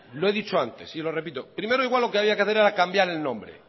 lo he dicho antes y lo repito primero igual lo que había que hacer era cambiar el nombre